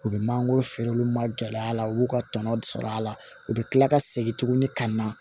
U bɛ mangoro feere olu ma gɛlɛya la u y'u ka tɔnɔ sɔrɔ a la u bɛ kila ka segin tuguni ka na